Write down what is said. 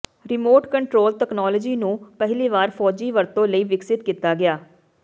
remote control technology ਨੂੰ ਪਹਿਲੀ ਵਾਰ ਫ਼ੌਜੀ ਵਰਤੋਂ ਲਈ ਵਿਕਸਿਤ ਕੀਤਾ ਗਿਆ